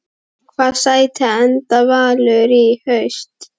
Í hvaða sæti enda Valur í haust?